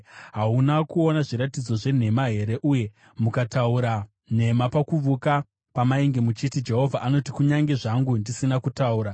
Hauna kuona zviratidzo zvenhema here uye mukataura nhema pakuvuka pamainge muchiti, “Jehovha anoti,” kunyange zvangu ndisina kutaura?